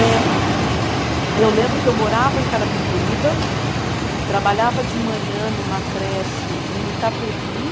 É. Eu lembro que eu morava em Carapicuíba, trabalhava de manhã numa creche em Itapevi.